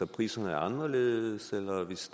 priserne er anderledes eller hvis